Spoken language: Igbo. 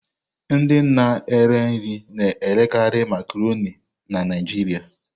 Ndị na-ere nri na-erekarị Makaronii na Naịjirịa.